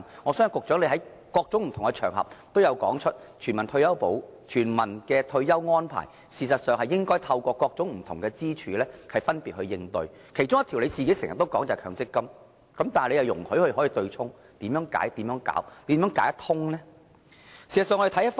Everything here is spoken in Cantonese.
我相信局長在不同場合都曾經說過，全民退保安排應該透過不同支柱來分別應對，其中一條支柱便是局長經常提到的強積金，但他卻容許對沖安排繼續下去，那麼問題應如何解決？